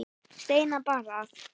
Steina bar að.